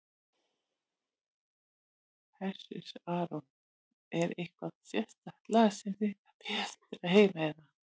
Hersir Aron: Er eitthvað sérstakt lag sem þið eruð að bíða eftir að heyra eða?